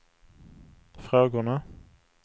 frågorna